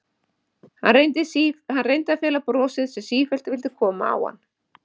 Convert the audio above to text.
Hann reyndi að fela brosið sem sífellt vildi koma á hann.